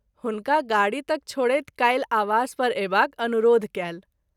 हुनका गाड़ी तक छोड़ैत काल्हि आवास पर अयबाक अनुरोध कएल।